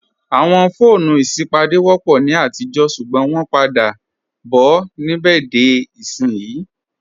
Awọn foonu isipádé wọ́pọ̀ ni atijọ̀ ṣugbọn wọn pa dà bọ̀ nibẹ̀dé ìṣin.